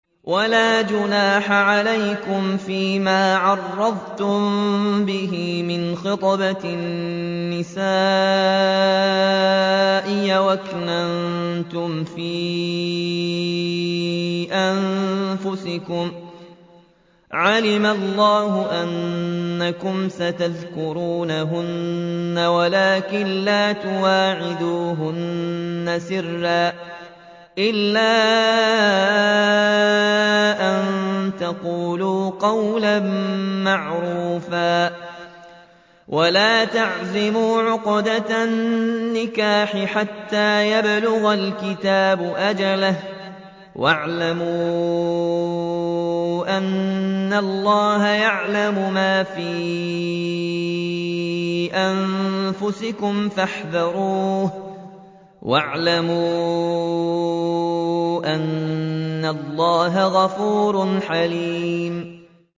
وَلَا جُنَاحَ عَلَيْكُمْ فِيمَا عَرَّضْتُم بِهِ مِنْ خِطْبَةِ النِّسَاءِ أَوْ أَكْنَنتُمْ فِي أَنفُسِكُمْ ۚ عَلِمَ اللَّهُ أَنَّكُمْ سَتَذْكُرُونَهُنَّ وَلَٰكِن لَّا تُوَاعِدُوهُنَّ سِرًّا إِلَّا أَن تَقُولُوا قَوْلًا مَّعْرُوفًا ۚ وَلَا تَعْزِمُوا عُقْدَةَ النِّكَاحِ حَتَّىٰ يَبْلُغَ الْكِتَابُ أَجَلَهُ ۚ وَاعْلَمُوا أَنَّ اللَّهَ يَعْلَمُ مَا فِي أَنفُسِكُمْ فَاحْذَرُوهُ ۚ وَاعْلَمُوا أَنَّ اللَّهَ غَفُورٌ حَلِيمٌ